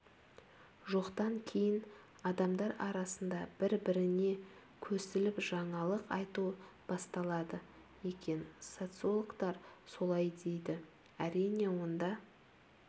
жоқтан кейін адамдар арасында бір-біріне көсіліп жаңалық айту басталады екен социологтар солай дейді әрине онда